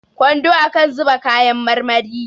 kwando akan zuba kayan marmari